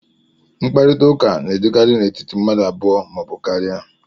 mkparịta ụka na-adịkarị n'etiti mmadụ abụọ ma ọ bụ karịa